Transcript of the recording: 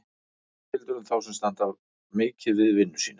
Það sama gildir um þá sem standa mikið við vinnu sína.